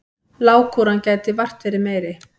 Lágkúran gæti vart verið meiri.